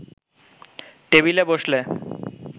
টেবিলে বসলে